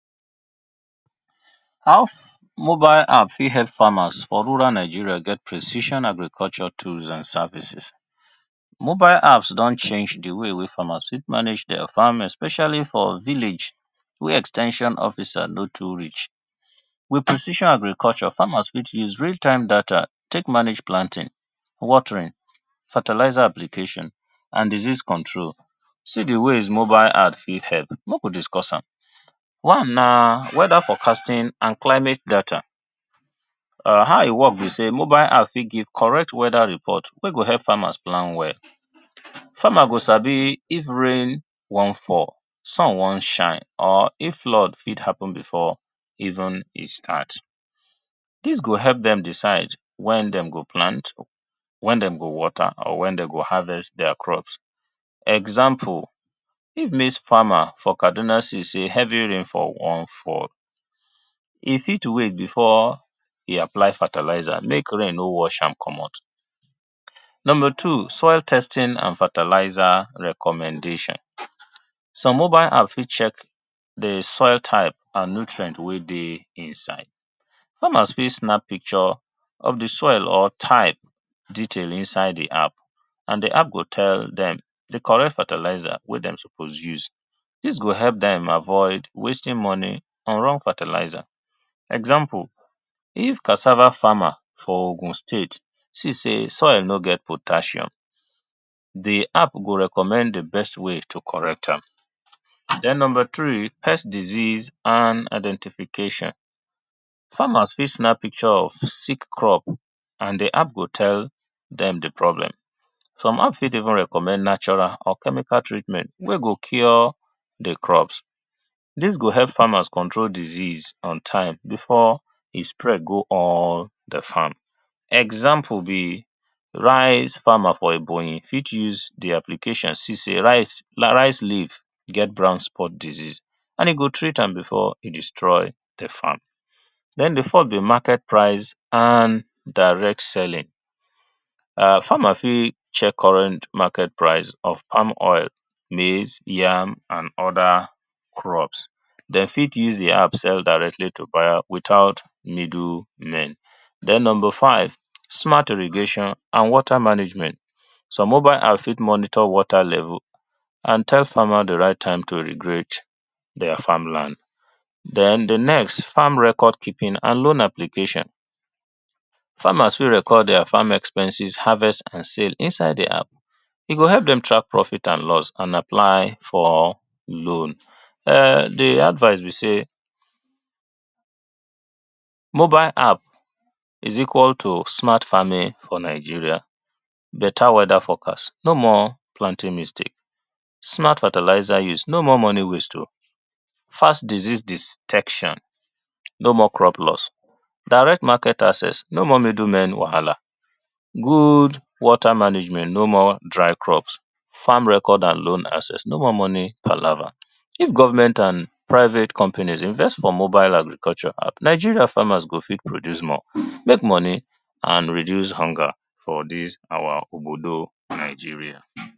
How mobile app fit help farmers for rural Nigeria get precision agriculture tools and services. mobile app s don change di way farmers fit manage their farms especially for village wey ex ten sion officer no too reach. With precision agriculture farmers fit use real time data take manage planting, watering, fertilizer application and disease control, see di ways mobile app fit help make we discuss am. One na weather forecasting and climate data, how e work be sey mobile app fit give correct weather report wey go help farmers plan well, farmers go sabi if rain wan fall, sun wan shine or if flood wan happen even before e start. Dis go help dem decide wen dem go plant, wen dem go water or wen dem go harvest their crops. Example if maize farmer for Kaduna see sey heavy rainfall wan fall, e fit wait before e apply fertilizer make rain no wash am komot. Number two soil testing and fertilizer recommendation. Some mobile app fit check di soil type and nutrient wey dey inside, farmers fit snap pictures of di soil texture type inside di type and di app go tell dem di correct fertilizer wey dem suppose use, dis go help dem avoid wasting money on wrong fertilizer. Example if cassava farmer for Ogun state see sey soil nor get potassium di app go recommend di best way to correct am. Den number three pest disease and identification, farmers fit snap pictures of sick crop and di app go tell dem di problem, some app fit even recommend natural or chemical treatment wey go cure di crops dis go help farmers cure disease on time before e spread go all di farm. Example be rice farmer for Ebonyi fit use di application see sey rice, rice leaves get brown spot disease and e go treat am before e destroy di plant, dem before di market pri ce and direct selling, farmer fit check current market price of palm oil, maize, yam and oda crops. Dem fit use di app sef directly to buy without middlemen. Den number five smart irrigation and water management some mobile app fit check water level and tell farmers di right time to irrigate their farm land. Den di next farm record keeping and known application. Farmers fit record their farm expenses harvest and sales inside di app e go help dem track profit and loss and apply for loan. Di advice be sey mobile app is equal to smart farming for Nigeria better weather f orecast no more planting mistake, smart fertilizer use no mere money waste oh, fast disease detection, no more crop loss, direct market access no more middle men wahala, good water management, no more dry crops, farm record and load accessing, money kpalava if government and private company invest for mobile agriculture Nigeria farmers go fit produce more food, make money and reduce hunger for dis our obodo Nigeria.